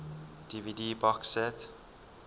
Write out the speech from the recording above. dvd box set